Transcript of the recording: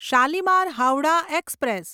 Shalimar Howrah express